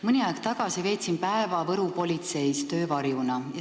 Mõni aeg tagasi veetsin päeva Võru politseis töövarjuna.